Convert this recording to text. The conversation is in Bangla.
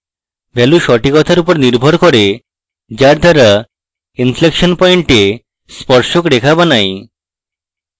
ভ্যালু সঠিকতার উপর নির্ভর করে যার দ্বারা inflection point এ স্পর্শক রেখা বানাই